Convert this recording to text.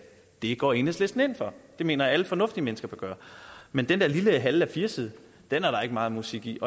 det går enhedslisten ind for og det mener jeg alle fornuftige mennesker bør gøre men den der lille halve a4 side er der ikke meget musik i i